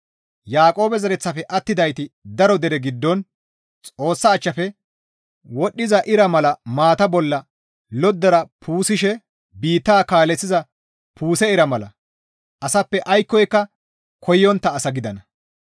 Yaaqoobe zereththafe attidayti daro dere giddon Xoossa achchafe wodhdhiza ira mala maata bolla loddara puusishe biitta kaaleththiza puuse ira mala asappe aykkoka koyontta asa gidana.